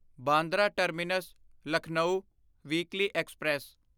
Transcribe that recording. Bandra terminus Lucknow weekly express